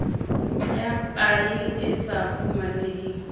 ya paye e sa fumaneheng